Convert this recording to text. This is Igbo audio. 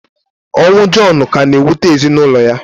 Ọnwụ Jọnu ka na-ewute ezinaụlọ ya.